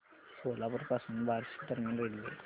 सोलापूर पासून बार्शी दरम्यान रेल्वे